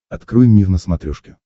открой мир на смотрешке